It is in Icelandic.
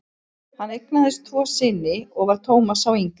Hann eignaðist tvo syni og var Thomas sá yngri.